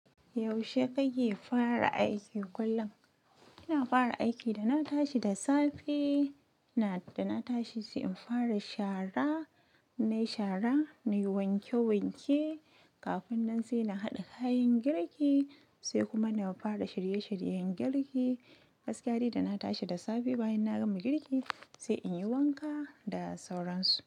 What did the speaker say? Yaushe kake fara aiki kullum? Ina fara aiki da na tashi da safe, da na tashi sai in fara shara, nayi shara, na yi wanke-wanke. Kafin nan sai na haɗa kayan girki sai kuma na fara shirye-shiryen girki. Gaskiyari da na tashi da safe bayan na gama girki sai inyi wanka da sauransu.